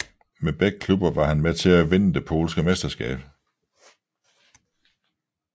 Med begge klubber var han med til at vinde det polske mesterskab